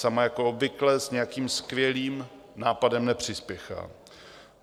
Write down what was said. Sama jako obvykle s nějakým skvělým nápadem nepřispěchá.